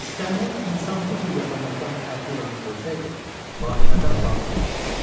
İstənilən insan bu cür yaxınlıqdan Əfi İlanı görsəydi, vahimədən bağrı çatlayardı.